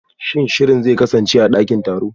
Shin shirin zai kasance a dakin taro?